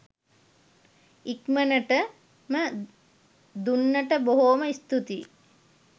ඉක්මනට ම දුන්නට බොහෝම ස්තූතියි